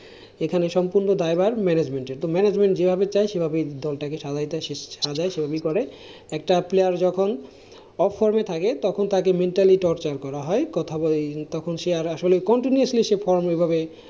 এখানে সম্পূর্ণ দায়ভার management এর, তো management যেভাবে চায় সেভাবে দলটাকে সাজায় সেভাবেই করে। একটা player যখন off form এ থাকে তখন তাকে mentally torture করা হয়। কথা বলা হয় তখন সে আর আসলে continuously সে form এ ভাবে,